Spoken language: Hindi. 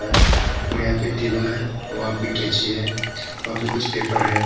और यहां पे टेबल है और वहां पे कैंची है वहां पे कुछ पेपर है।